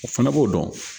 O fana b'o dɔn